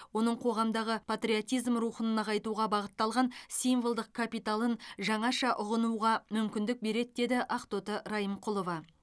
оның қоғамдағы патриотизм рухын нығайтуға бағытталған символдық капиталын жаңаша ұғынуға мүмкіндік береді деді ақтоты райымқұлова